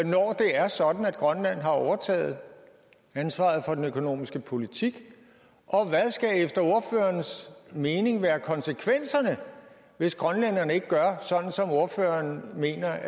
når det er sådan at grønland har overtaget ansvaret for den økonomiske politik og hvad skal efter ordførerens mening være konsekvenserne hvis grønlænderne ikke gør som ordføreren mener